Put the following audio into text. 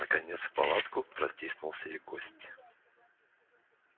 наконец в палатку протиснулся и гость